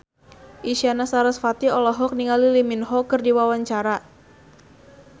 Isyana Sarasvati olohok ningali Lee Min Ho keur diwawancara